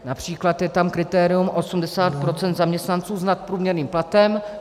Například je tam kritérium 80 % zaměstnanců s nadprůměrným platem.